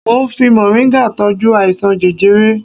Mo ń fi mọ̀ríngà tọ́jú àìsàn jẹjẹrẹ